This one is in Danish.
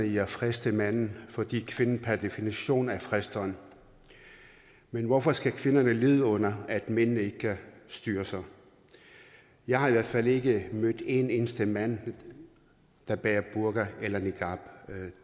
i at friste manden fordi kvinden per definition er fristeren men hvorfor skal kvinderne lide under at mændene ike kan styre sig jeg har i hvert fald ikke mødt en eneste mand der bærer burka eller niqab